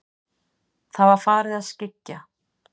Það var farið að skyggja.